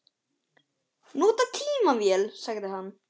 Nota tímann vel, sagði hann.